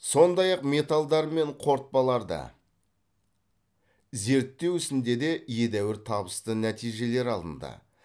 сондай ақ металдар мен қорытпаларды зерттеу ісінде де едәуір табысты нәтижелер алынды